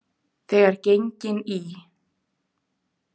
Þegar gengin í